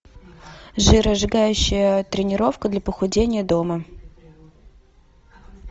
жиросжигающая тренировка для похудения дома